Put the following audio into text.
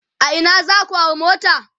a Ina zaku hau mota?